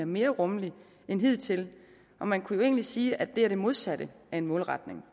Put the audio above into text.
mere rummelig end hidtil og man kunne jo egentlig sige at det er det modsatte af en målretning